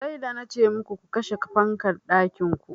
Sai da nace muku ku kashe fankan ɗakin ku.